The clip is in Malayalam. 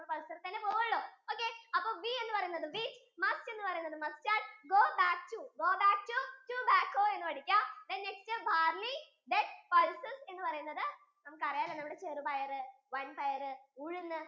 നമ്മള് pulsar ഇൽ തന്നെയാ പോവോള്ളു. ok അപ്പൊ we എന്ന് പറയുന്നത് wheat must എന്ന് പറയുന്നത് mustard go back to go back to tobacko എന്ന് വിളിക്കാം then next barley then spices എന്ന് പറയുന്നത് നമുക്കറിയാലോ നമ്മുടെ ചെറുപയറ് വൻപയർ